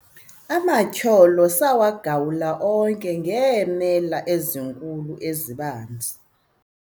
amatyholo sawagawula onke ngeemela ezinkulu ezibanzi